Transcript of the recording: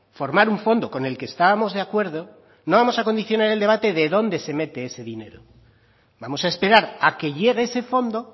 formar un fondo con el que estábamos de acuerdo no vamos a condicionar el debate de dónde se mete ese dinero vamos a esperar a que llegue ese fondo